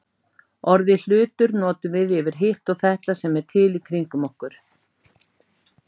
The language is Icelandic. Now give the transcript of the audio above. Orðið hlutur notum við yfir hitt og þetta sem er til í kringum okkur.